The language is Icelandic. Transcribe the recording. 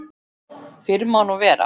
Fyrr má nú vera!